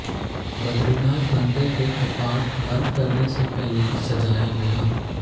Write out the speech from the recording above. बद्रीनाथ मंदिर के कपाट बंद करने से पहले सजाया गया